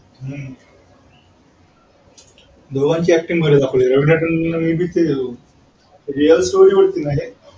दोघांच acting भारी दाखवली हे रवीना टनडन real story होती ना हे